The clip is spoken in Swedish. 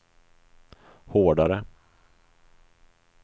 hårdare